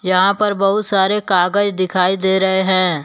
यहां पर बहुत सारे कागज दिखाई दे रहे हैं।